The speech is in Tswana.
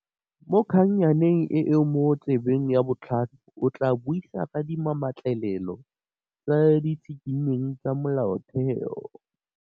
Mo kgannyaneng e e mo tsebeng ya botlhano, o tlaa buisa ka dimametlelelo tse di tshikintsweng tsa molaotheo.